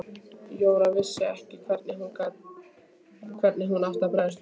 Jóra vissi ekki hvernig hún átti að bregðast við.